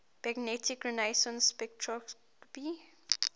magnetic resonance spectroscopy